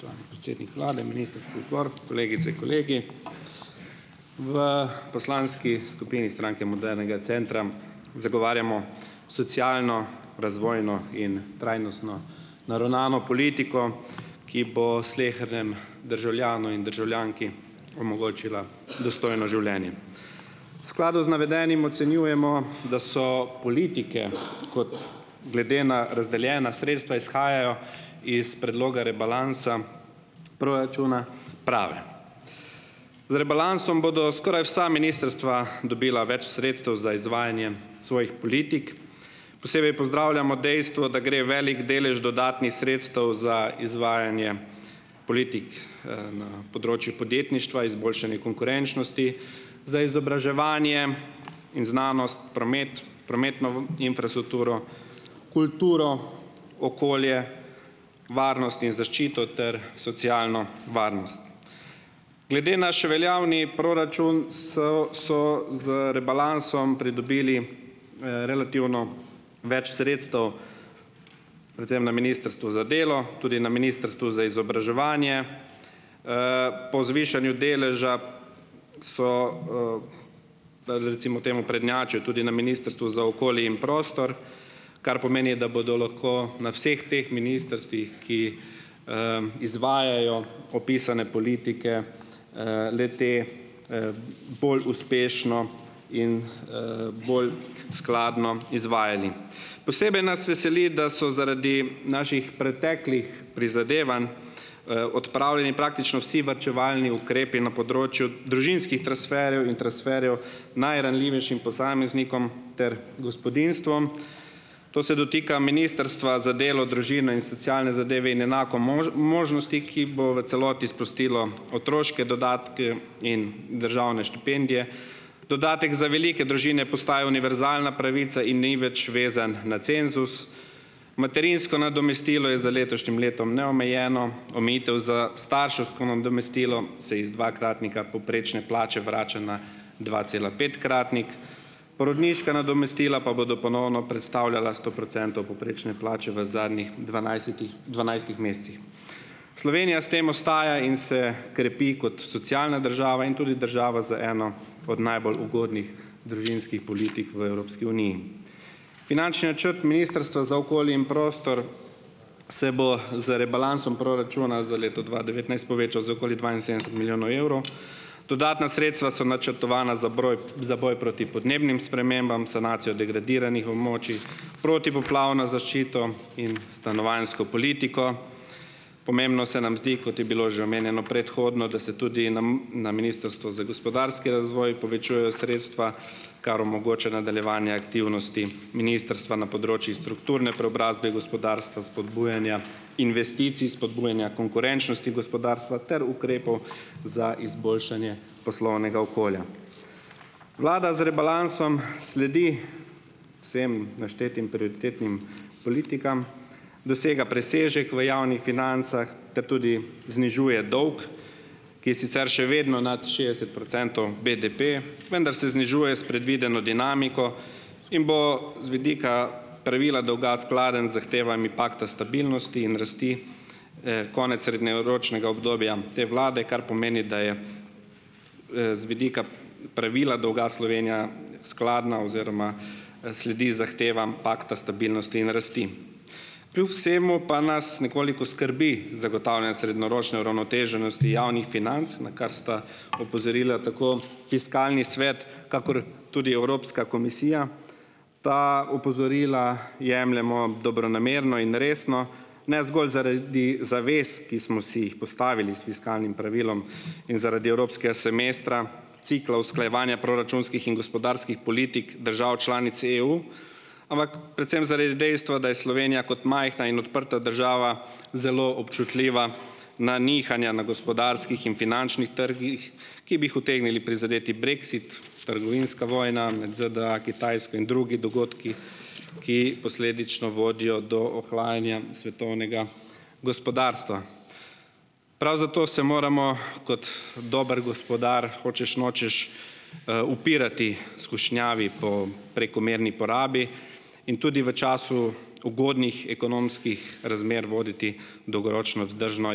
Spoštovani predsednik vlade, ministrski zbor, kolegice, kolegi. V poslanski skupini Stranke modernega centra zagovarjamo socialno, razvojno in trajnostno naravnano politiko, ki bo slehernemu državljanu in državljanki omogočila dostojno življenje. V skladu z navedenim ocenjujemo, da so politike, kot glede na razdeljena sredstva izhajajo iz predloga rebalansa proračuna, prave. Z rebalansom bodo skoraj vsa ministrstva dobila več sredstev za izvajanje svojih politik, posebej pozdravljamo dejstvo, da gre velik delež dodatnih sredstev za izvajanje politik, na področju podjetništva, izboljšanje konkurenčnosti, za izobraževanje in znanost, promet, prometno infrastrukturo, kulturo, okolje, varnost in zaščito ter socialno varnost. Glede naš veljavni proračun, so z rebalansom pridobili, relativno več sredstev, predvsem na Ministrstvu za delo, tudi na Ministrstvu za izobraževanje, po zvišanju deleža so, recimo temu, prednjačili tudi na Ministrstvu za okolje in prostor, kar pomeni, da bodo lahko na vseh teh ministrstvih, ki, izvajajo opisane politike, le-te, bolj uspešno in, bolj skladno izvajali. Posebej nas veseli, da so zaradi naših preteklih prizadevanj, odpravljeni praktično vsi varčevalni ukrepi na področju družinskih transferjev in transferjev najranljivejšim posameznikom ter gospodinjstvom. To se dotika Ministrstva za delo, družino in socialne zadeve in enako možnosti, ki bo v celoti sprostilo otroške dodatke in državne štipendije. Dodatek za velike družine postaja univerzalna pravica in ni več vezan na cenzus. Materinsko nadomestilo je za letošnjim letom neomejeno. Omejitev za starševsko nadomestilo se iz dvakratnika povprečne plače vrača na dvacelapetkratnik. Porodniška nadomestila pa bodo ponovno predstavljala sto procentov povprečne plače v zadnjih dvanajsetih dvanajstih mesecih. Slovenija s tem ostaja in se krepi kot socialna država in tudi država z eno od najbolj ugodnih družinskih politik v Evropski uniji. Finančni načrt Ministrstva za okolje in prostor se bo z Rebalansom proračuna za leto dva devetnajst povečal za okoli dvainsedemdeset milijonov evrov. Dodatna sredstva so načrtovana za broj za boj proti podnebnim spremembam, sanacijo degradiranih območij, protipoplavna zaščito in stanovanjsko politiko. Pomembno se nam zdi, kot je bilo že omenjeno predhodno, da se tudi nam na Ministrstvu za gospodarski razvoj povečujejo sredstva, kar omogoča nadaljevanje aktivnosti ministrstva na področjih strukturne preobrazbe, gospodarstva, spodbujanja investicij, spodbujanja konkurenčnosti gospodarstva ter ukrepov za izboljšanje poslovnega okolja. Vlada z rebalansom sledi vsem naštetim prioritetnim politikam, dosega presežek v javnih financah ter tudi znižuje dolg, ki je sicer še vedno nad šestdeset procentov BDP, vendar se znižuje s predvideno dinamiko in bo z vidika pravila dolga skladen z zahtevami pakta stabilnosti in rasti, konec srednjeročnega obdobja te vlade, kar pomeni, da je, z vidika pravila dolga Slovenija skladna oziroma, sledi zahtevam pakta stabilnosti in rasti. Kljub vsemu pa nas nekoliko skrbi zagotavljanje srednjeročne uravnoteženosti javnih financ, na kar sta opozorila tako Fiskalni svet kakor tudi Evropska komisija. Ta opozorila jemljemo dobronamerno in resno, ne zgolj zaradi zavez, ki smo si jih postavili s fiskalnim pravilom, in zaradi evropskega semestra, cikla usklajevanja proračunskih in gospodarskih politik držav članic EU, ampak predvsem zaradi dejstva, da je Slovenija kot majhna in odprta država zelo občutljiva na nihanja na gospodarskih in finančnih trgih, ki bi jih utegnili prizadeti brexit, trgovinska vojna med ZDA, Kitajsko in drugi dogodki, ki posledično vodijo do ohlajanja svetovnega gospodarstva. Prav zato se moramo kot dober gospodar, hočeš nočeš, upirati skušnjavi po prekomerni porabi in tudi v času ugodnih ekonomskih razmer voditi dolgoročno vzdržno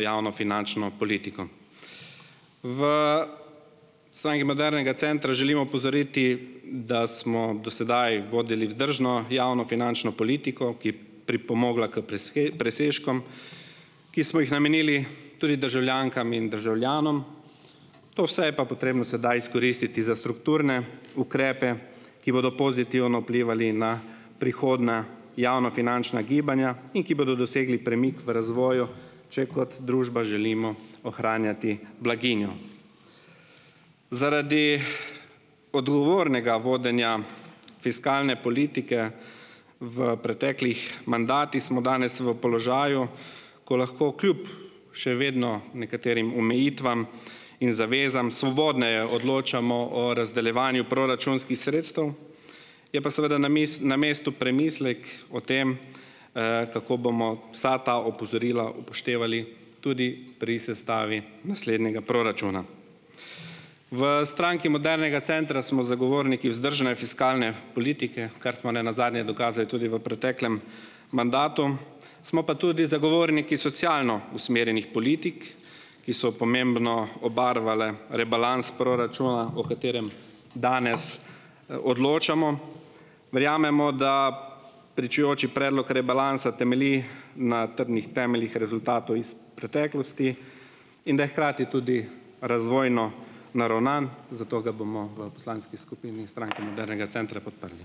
javnofinančno politiko. V Stranki modernega centra želimo opozoriti, da smo do sedaj vodili vzdržno javnofinančno politiko, ki pripomogla k presežkom, ki smo jih namenili tudi državljankam in državljanom, to vse je pa potrebno sedaj izkoristiti za strukturne ukrepe, ki bodo pozitivno vplivali na prihodna javnofinančna gibanja in ki bodo dosegli premik v razvoju, če kot družba želimo ohranjati blaginjo. Zaradi odgovornega vodenja fiskalne politike v preteklih mandatih smo danes v položaju, ko lahko kljub še vedno nekaterim omejitvam in zavezam svobodneje odločamo o razdeljevanju proračunskih sredstev, je pa seveda na mestu premislek o tem, kako bomo vsa ta opozorila upoštevali tudi pri sestavi naslednjega proračuna. V Stranki modernega centra smo zagovorniki vzdržne fiskalne politike, kar smo ne nazadnje dokazali tudi v preteklem mandatu, smo pa tudi zagovorniki socialno usmerjenih politik, ki so pomembno obarvale rebalans proračuna, o katerem danes, odločamo. Verjamemo, da pričujoči predlog rebalansa temelji na trdnih temeljih rezultatov iz preteklosti in da je hkrati tudi razvojno naravnan, zato ga bomo v poslanski skupini Stranke modernega centra podprli.